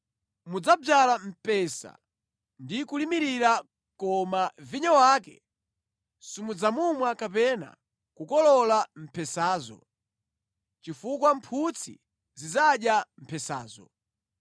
Mudzadzala mpesa ndi kulimirira koma vinyo wake simudzamumwa kapena kukolola mphesazo, chifukwa mphutsi zidzadya mphesazo.